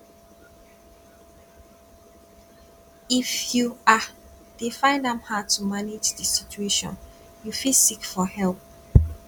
if you um dey find am hard to manage di situation you fit seek for help